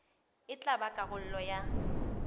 e tla ba karolo ya